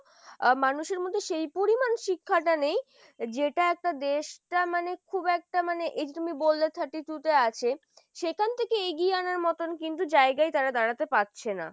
মানুষের মধ্যে সেই পরিমাণ শিক্ষাটা নেই যেটা একটা দেশটা মানে খুব একটা মানে এই যে তুমি বললে thirty two তে আছে সেখান থেকে এগিয়ে আনার মতন কিন্তু জায়গায় তারা দাঁড়াতে পারছে না ।